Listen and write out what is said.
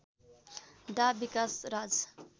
डा विकाश राज